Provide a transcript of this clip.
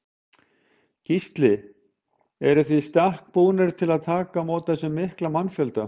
Gísli: Eruð þið í stakk búnir til að taka á móti þessum mikla mannfjölda?